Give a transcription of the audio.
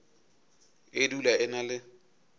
e dula e na le